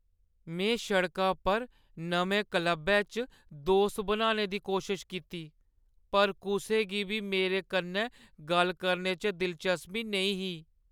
में सड़का पर नमें क्लबै च दोस्त बनाने दी कोशश कीती, पर कुसै गी बी मेरे कन्नै गल्ल करने च दिलचस्पी नेईं ही।